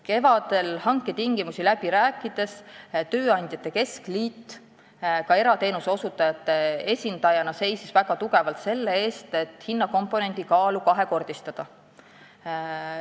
Kevadel hanke tingimuste üle läbi rääkides seisis tööandjate keskliit ka erateenuse osutajate esindajana väga tugevalt selle eest, et hinnakomponendi kaalu kahekordistada.